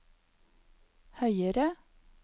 høyere